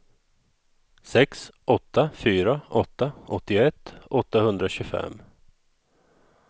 sex åtta fyra åtta åttioett åttahundratjugofem